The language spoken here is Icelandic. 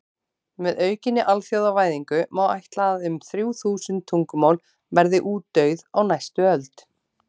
Með aukinni alþjóðavæðingu má ætla að um þrjú þúsund tungumál verði útdauð á næstu öld.